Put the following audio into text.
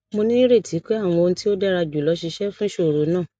mo nireti pe awọn ohun ti o dara julọ ṣiṣẹ fun iṣoro naa